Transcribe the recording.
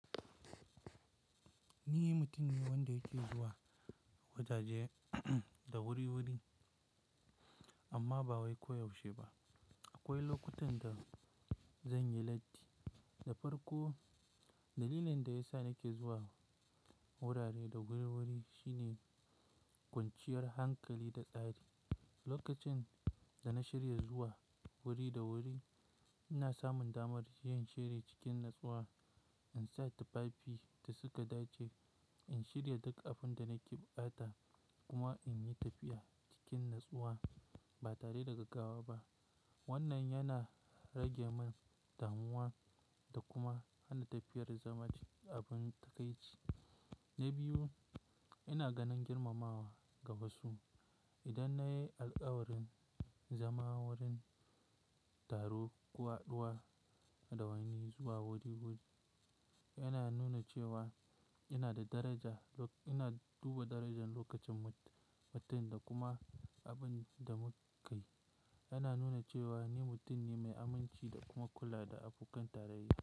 Ni mutum ne wanda yake zuwa wajaje da wuri-wuri amma ba wai koyaushe ba. Akwai lokutan da zan yi latti. Da farko, dalilin da ya sa nake zuwa wurare da wuri-wuri shine kwanciyar hankali da tsari. Lokacin da na shirya zuwa wuri da wuri, ina samun damar yin shiri cikin natsuwa, in sa tufafi da suka dace, in shirya duk abin da nake ɓata kuma in yi tafiya cikin natsuwa ba tare da gaggawa ba. Wannan yana rage min damuwa da kuma hana tafiyar zama abin takaici. Na biyu, ina ganin girmamawa daga su. Idan na yi alkawarin zama wurin taro, ko haɗuwa da wani zuwa wuri-wuri, yana nuna cewa ina da daraja, ina duba darajan lokacin mutum da kuma abin da muka yi. Yana nuna cewa ni mutum ne mai aminci da kuma kula da abokan tarayya.